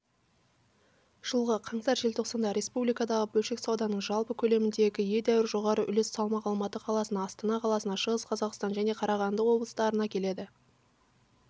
жылғы қаңтар-желтоқсанда республикадағы бөлшек сауданың жалпы көлеміндегі едәуір жоғары үлес салмақ алматы қаласына астана қаласына шығыс қазақстан және қарағанды облыстарына келеді